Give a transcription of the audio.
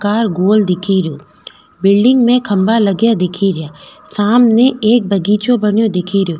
Car गोल दिखे रियो बिलडिंग में खम्भा लगा दिखे रिया सामने एक बगीचों बनो दिखे रो।